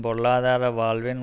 பொருளாதார வாழ்வின்